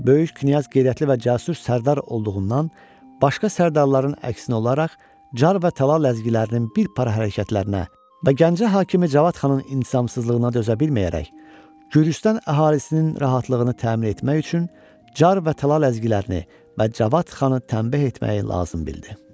Böyük Knyaz qeyrətli və cəsur sərdar olduğundan başqa sərdarların əksinə olaraq Car və Talala ləzgilərinin bir para hərəkətlərinə və Gəncə hakimi Cavad xanın intizamsızlığına dözə bilməyərək, Gürcüstan əhalisinin rahatlığını təmin etmək üçün Car və Talal ləzgilərini və Cavad xanı təmbeh etməyi lazım bildi.